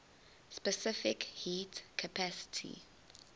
specific heat capacity